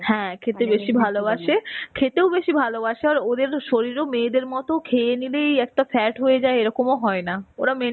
হ্যাঁ, খেতে বেশী ভালবাসে. খেতেও বেশী ভালবাসে আর ওদের শরীরেও মেয়েদের মতো খেয়ে নিলেই একটা fat হয়েযায় এরকম হয়না. ওরা